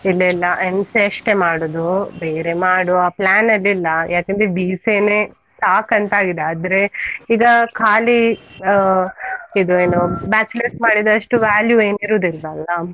ಇಲ್ಲ ಇಲ್ಲ MCA ಅಷ್ಟೇ ಮಾಡುದು, ಬೇರೆ ಮಾಡುವ plan ಅಲ್ಲಿಲ್ಲ, ಯಾಕಂದ್ರೆ BCA ನೆ ಸಾಕಂತ ಆಗಿದೆ, ಆದ್ರೆ ಈಗ ಕಾಲಿ ಆ ಇದು ಏನು bachelor's ಅಷ್ಟು value ಏನ್ ಇರುದಿಲ್ಲ ಅಲ್ವಾ?